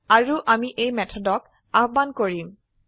আৰু আমি এই মেথডক আহবান কৰিম